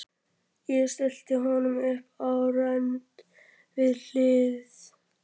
Ég stilli honum upp á rönd við hlið